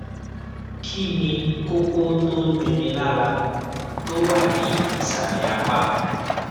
kí ni kókó tó ń dunni lára tó wà ní ìsàlẹ apá